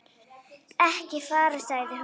Ekki fara, sagði hún.